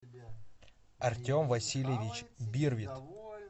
артем васильевич бирвит